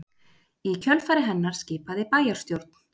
Í kjölfar hennar skipaði bæjarstjórn